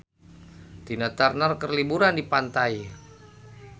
Tina Turner keur liburan di pantai